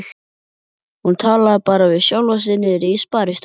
Hún talaði bara við sjálfa sig niðri í sparistofu.